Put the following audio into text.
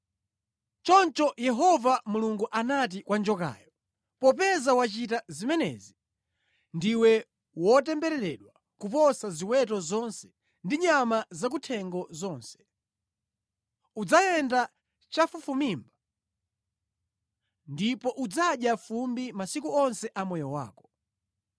Choncho Yehova Mulungu anati kwa njokayo, “Popeza wachita zimenezi, “Ndiwe wotembereredwa kuposa ziweto zonse ndi nyama zakuthengo zonse. Udzayenda chafufumimba ndipo udzadya fumbi masiku onse a moyo wako.